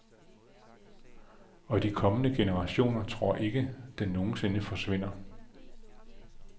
Og de kommende generationer tror ikke, den nogen sinde forsvinder.